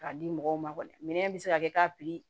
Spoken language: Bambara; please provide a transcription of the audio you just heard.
K'a di mɔgɔw ma kɔni minɛn bɛ se ka kɛ k'a pikiri